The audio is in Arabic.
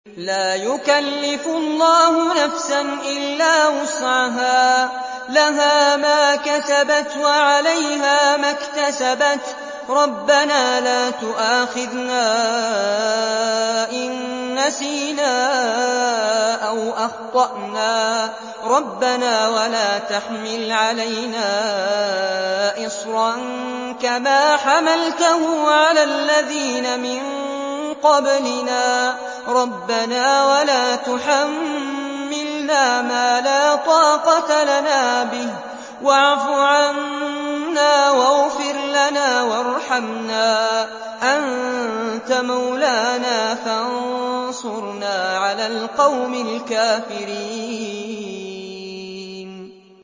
لَا يُكَلِّفُ اللَّهُ نَفْسًا إِلَّا وُسْعَهَا ۚ لَهَا مَا كَسَبَتْ وَعَلَيْهَا مَا اكْتَسَبَتْ ۗ رَبَّنَا لَا تُؤَاخِذْنَا إِن نَّسِينَا أَوْ أَخْطَأْنَا ۚ رَبَّنَا وَلَا تَحْمِلْ عَلَيْنَا إِصْرًا كَمَا حَمَلْتَهُ عَلَى الَّذِينَ مِن قَبْلِنَا ۚ رَبَّنَا وَلَا تُحَمِّلْنَا مَا لَا طَاقَةَ لَنَا بِهِ ۖ وَاعْفُ عَنَّا وَاغْفِرْ لَنَا وَارْحَمْنَا ۚ أَنتَ مَوْلَانَا فَانصُرْنَا عَلَى الْقَوْمِ الْكَافِرِينَ